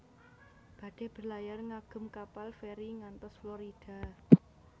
Badhe berlayar ngagem kapal feri ngantos Florida